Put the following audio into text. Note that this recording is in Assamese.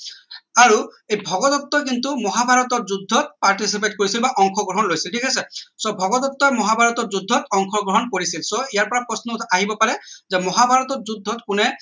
আৰু এই ভগদত্ত কিন্তু মহা ভাৰতৰ যুদ্ধত participate বা অংশ গ্ৰহন লৈছিল ঠিক আছে so ভগদত্ত মহা ভাৰতৰ যুদ্ধত অংশ গ্ৰহন কৰিছিল so ইয়াৰ পৰা প্ৰশ্ন আহিব পাৰে যে মহা ভাৰতৰ যুদ্ধত কোনে